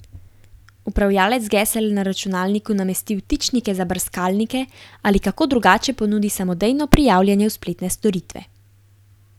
Upravljavec gesel na računalniku namesti vtičnike za brskalnike ali kako drugače ponudi samodejno prijavljanje v spletne storitve.